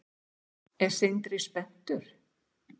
Er Sindri spenntur?